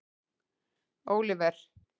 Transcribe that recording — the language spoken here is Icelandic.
Oliver